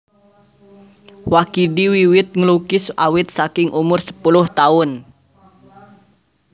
Wakidi wiwit nglukis awit saking umur sepuluh taun